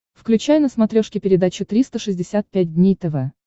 включай на смотрешке передачу триста шестьдесят пять дней тв